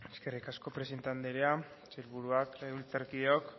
eskerrik asko presidente anderea sailburuak legebiltzarkideok